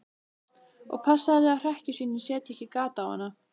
Og passaðu þig að hrekkjusvínin setji ekki gat á hana.